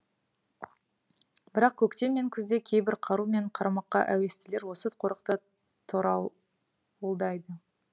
бірақ көктем мен күзде кейбір қару мен қармаққа әуестілер осы қорықты торауылдайды